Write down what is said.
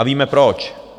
A víme proč.